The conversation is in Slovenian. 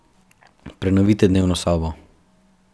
Prenovite dnevno sobo.